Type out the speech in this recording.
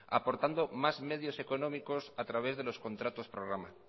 aportando más medios económicos a través de los contratos programa